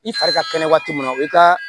I fari ka kɛnɛ waati mun na i ka